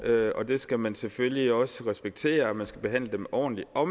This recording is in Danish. og det skal man selvfølgelig også respektere og man skal behandle dem ordentligt på